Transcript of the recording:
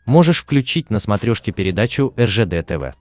можешь включить на смотрешке передачу ржд тв